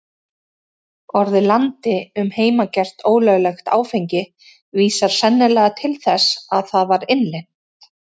Orðið landi um heimagert, ólöglegt áfengi, vísar sennilega til þess að það var innlent.